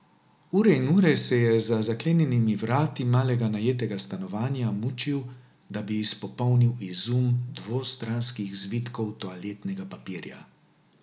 Ure in ure se je za zaklenjenimi vrati malega najetega stanovanja mučil, da bi izpopolnil izum dvostranskih zvitkov toaletnega papirja.